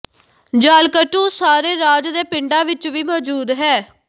ਜਾਲਿਕੱਟੂ ਸਾਰੇ ਰਾਜ ਦੇ ਪਿੰਡਾਂ ਵਿਚ ਵੀ ਮੌਜੂਦ ਹੈ